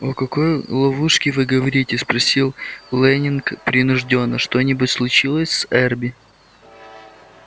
о какой ловушке вы говорите спросил лэннинг принуждённо что-нибудь случилось с эрби